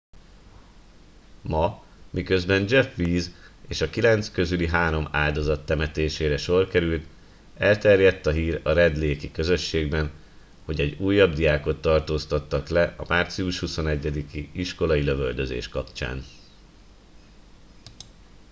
ma miközben jeff weise és a kilenc közüli három áldozat temetésére sor került elterjedt a hír a red lake i közösségben hogy egy újabb diákot tartóztattak le a március 21 i iskolai lövöldözés kapcsán